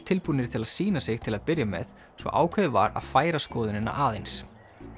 tilbúnir til að sýna sig til að byrja með svo að ákveðið var að færa skoðunina aðeins